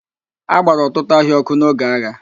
A gbara ọtụtụ ahịa ọ́kụ́ n'oge agha.